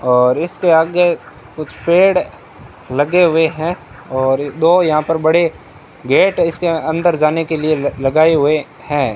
और इसके आगे कुछ पेड़ लगे हुए हैं और दो यहां पर बड़े गेट इसके अंदर जाने के लिए लगाए हुए हैं।